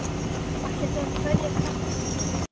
Ætlið þið að kveðja krakkar?